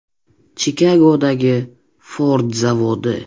Chikagodagi Ford zavodi.